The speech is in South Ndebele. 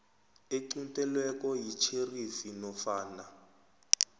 equntelweko yitjherifi nofana